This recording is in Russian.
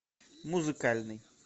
музыкальный